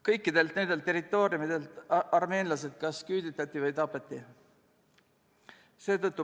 Kõikidelt nendelt territooriumidelt armeenlased kas küüditati või nad tapeti.